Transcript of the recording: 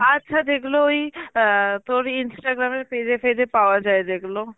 আচ্ছা যেগুলো ওই অ্যাঁ তোর Instagram এর page এ fage এ পাওয়া যায় যেগুলো